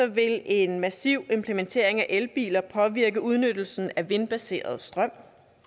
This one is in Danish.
vil en massiv implementering af elbiler påvirke udnyttelsen af vindbaseret strøm